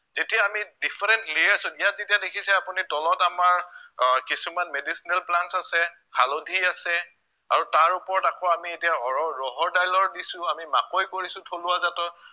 যেতিয়া আমি different layers ত ইয়াত যেতিয়া দেখিছে আপুনি তলত আমাৰ আহ কিছুমান medicinal plants আছে, হালধি আছে আৰু তাৰ ওপৰত আকৌ আমি এতিয়া অৰৰ ৰহৰ দাইলৰ দিছো আমি মাকৈ কৰিছো থলুৱা জাতৰ